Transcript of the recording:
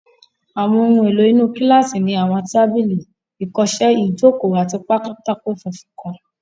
Àwọn ohun èlò inú kílásì ni àwọn tábìlì ìkọsẹ́, ìjòkó, àti pátákó funfun kan